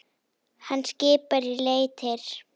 Hann skipar í leitir.